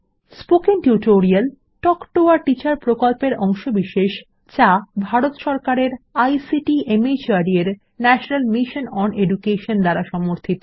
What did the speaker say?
spoken tutorial talk to a teacher প্রকল্পের অংশবিশেষ যা ভারত সরকারের আইসিটি মাহর্দ এর ন্যাশনাল মিশন ওন এডুকেশন দ্বারা সমর্থিত